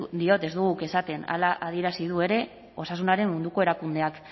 diot ez dugu guk esaten hala adierazi du ere osasunaren munduko erakundeak